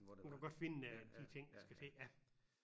Hun kunne godt finde øh de ting der skal til ja